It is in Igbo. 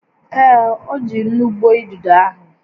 Ee, o ji nnu gbuo idido ahụ